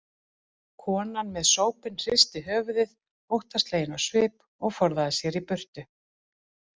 Konan með sópinn hristi höfuðið óttaslegin á svip og forðaði sér í burtu.